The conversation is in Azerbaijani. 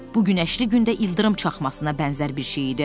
Bu gün günəşli gündə ildırım çaxmasına bənzər bir şey idi.